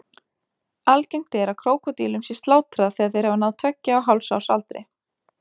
Algengt er að krókódílum sé slátrað þegar þeir hafa náð tveggja og hálfs árs aldri.